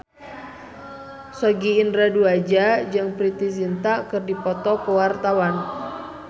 Sogi Indra Duaja jeung Preity Zinta keur dipoto ku wartawan